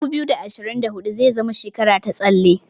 2024 zai zama shekara ta tsalle.